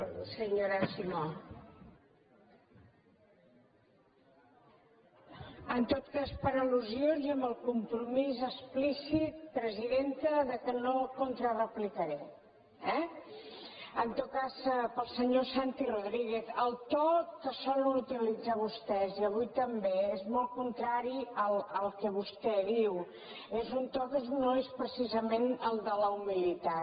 en tot cas per al·lusions i amb el compromís explícit presidenta que no contrareplicaré eh en tot cas per al senyor santi rodríguez el to que solen utilitzar vostès i avui també és molt contrari al que vostè diu és un to que no és precisament el de la humilitat